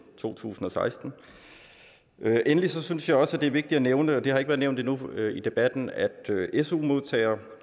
to tusind og seksten endelig synes jeg også det er vigtigt at nævne og det har ikke været nævnt endnu i debatten at su modtagere